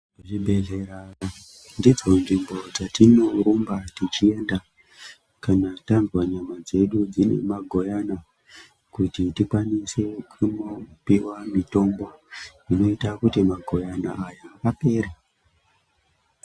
Zvibhedhlera ndidzo nzvimbo dzatinorumba tichienda kana tanzwa nyama dzedu dzine magoyani kuti tikwanise kunopiwa mitombo inota kuti magoyana awa apere.